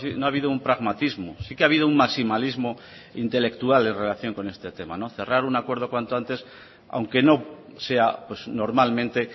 no ha habido un pragmatismo sí que ha habido un maximalismo intelectual en relación con este tema cerrar un acuerdo cuanto antes aunque no sea normalmente